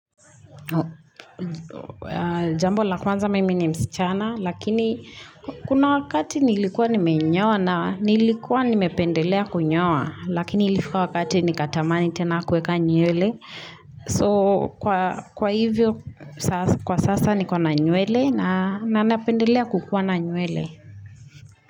Jambo la kwanza mimi ni msichana Lakini kuna wakati nilikuwa nimenyoa na nilikuwa nimependelea kunyoa Lakini ilifika wakati nikatamani tena kueka nywele So kwa hivyo kwa sasa niko na nywele na napendelea kukuwa na nywele.